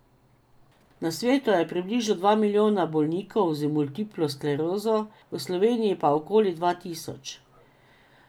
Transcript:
Na svetu je približno dva milijona bolnikov z multiplo sklerozo, v Sloveniji pa okoli dva tisoč.